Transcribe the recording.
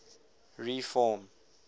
reform